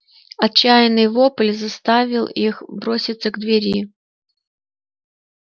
отчаянный вопль заставил их броситься к двери